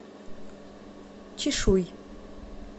чишуй